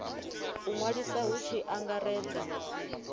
u ṅwaliswa hu tshi angaredzwa